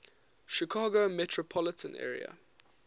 chicago metropolitan area